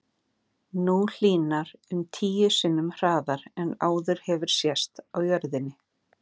Nú hlýnar um tíu sinnum hraðar en áður hefur sést á jörðinni.